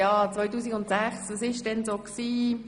Und wenn Sie jetzt fragen, was 2006 war: